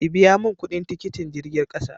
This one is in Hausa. ki biya mun kudin tikitin jirgin ƙasa!